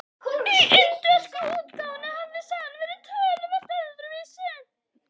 Í indversku útgáfunni hafði sagan verið töluvert öðruvísi.